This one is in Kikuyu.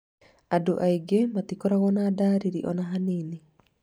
Andũ angĩ matikoragwo na ndariri ona hanini